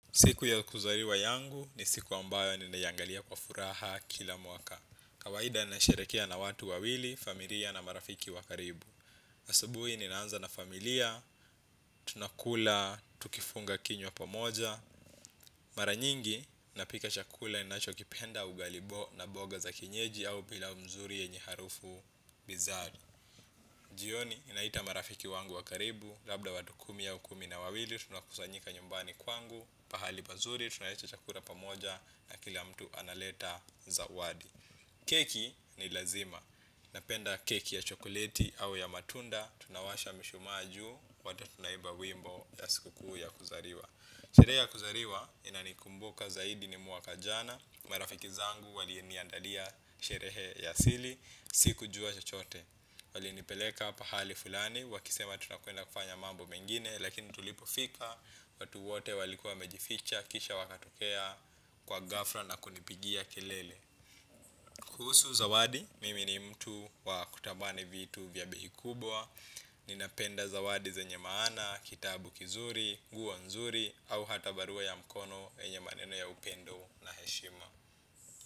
Siku ya kuzaliwa yangu ni siku ambayo ninaiyangalia kwa furaha kila mwaka. Kawaida ni nasherehekea na watu wawili, familia na marafiki wa karibu. Asabuhi ninaanza na familia, tunakula, tukifunga kinywa pa moja. Mara nyingi, napika chakula ni nachokipenda ugali na mboga za kienyeji au pilau nzuri yenye harufu binzari. Jioni, ninaita marafiki wangu wa karibu, labda watu kumi au kumi na wawili, tunakusanyika nyumbani kwangu. Pahali pazuri, tunaleta chakula pamoja na kila mtu analeta zawadi. Keki ni lazima. Napenda keki ya chokoleti au ya matunda. Tunawasha mishumaa juu, wote tunaimba wimbo ya siku kuu ya kuzaliwa. Sherehe ya kuzaliwa inanikumbuka zaidi ni mwaka jana. Marafiki zangu waliniandalia sherehe ya asili. Sikujua chchote. Walinipeleka pahali fulani wakisema tutakwenda kufanya mambo mengine. Lakini tulipofika, watu wote walikuwa wamejificha, kisha wakatokea kwa ghafla na kunipigia kelele. Kuhusu zawadi, mimi ni mtu wa kutanani vitu vya bei kubwa. Ninapenda zawadi zenye maana, kitabu kizuri, nguo nzuri au hata barua ya mkono yenye maneno ya upendo na heshima.